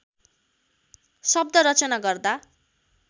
शब्द रचना गर्दा